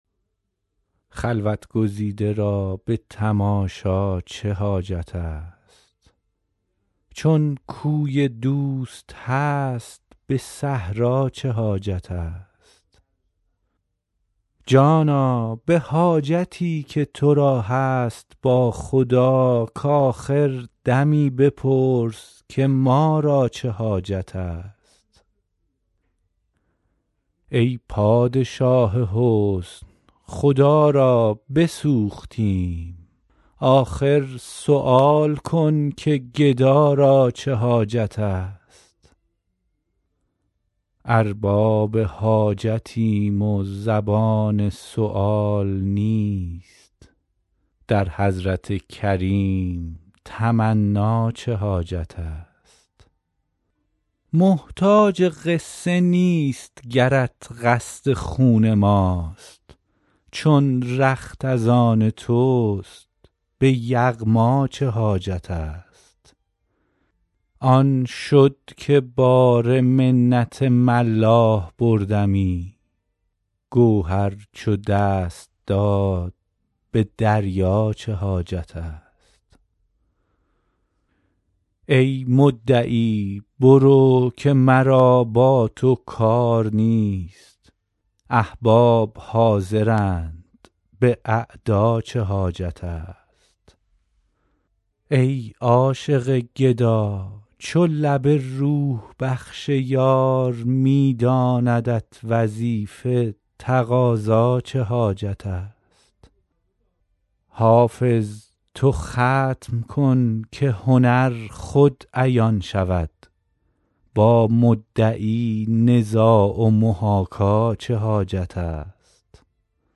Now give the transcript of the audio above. خلوت گزیده را به تماشا چه حاجت است چون کوی دوست هست به صحرا چه حاجت است جانا به حاجتی که تو را هست با خدا کآخر دمی بپرس که ما را چه حاجت است ای پادشاه حسن خدا را بسوختیم آخر سؤال کن که گدا را چه حاجت است ارباب حاجتیم و زبان سؤال نیست در حضرت کریم تمنا چه حاجت است محتاج قصه نیست گرت قصد خون ماست چون رخت از آن توست به یغما چه حاجت است جام جهان نماست ضمیر منیر دوست اظهار احتیاج خود آن جا چه حاجت است آن شد که بار منت ملاح بردمی گوهر چو دست داد به دریا چه حاجت است ای مدعی برو که مرا با تو کار نیست احباب حاضرند به اعدا چه حاجت است ای عاشق گدا چو لب روح بخش یار می داندت وظیفه تقاضا چه حاجت است حافظ تو ختم کن که هنر خود عیان شود با مدعی نزاع و محاکا چه حاجت است